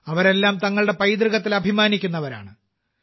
അവരെല്ലാം തങ്ങളുടെ പൈതൃകത്തിൽ അഭിമാനിക്കുന്നവരാണ്